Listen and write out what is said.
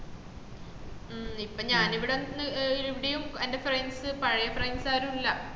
മ്മ് ഇപ്പൊ ഞാന് ഇവട നിക്ക് ഇവിടെയും എന്റെ friends പഴേ friends ആരൂല്ല